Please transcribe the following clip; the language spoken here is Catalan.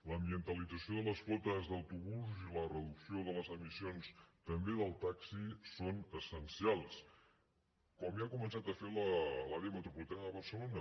l’ambientalització de les flotes d’autobusos i la reducció de les emissions també del taxi són essencials com ja ha començat a fer l’àrea metropolitana de barcelona